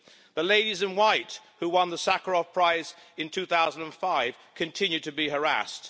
The Ladies in White, who won the Sakharov Prize in 2005, continue to be harassed.